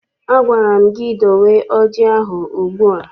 Agwara m gị dowe ọjị ahụ ugbu a!